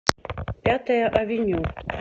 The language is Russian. пятая авеню